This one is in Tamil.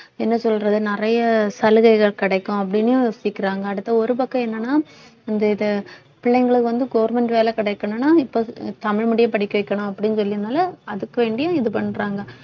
என்ன சொல்றது நிறைய சலுகைகள் கிடைக்கும் அப்படின்னு யோசிக்கிறாங்க அடுத்து ஒரு பக்கம் என்னன்னா இந்த இத பிள்ளைங்களுக்கு வந்து government வேலை கிடைக்கணும்னா இப்ப தமிழ் medium படிக்க வைக்கணும் அப்படின்னு சொல்லினால அதுக்கு வேண்டியும் இது பண்றாங்க